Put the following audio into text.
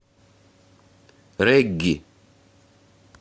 регги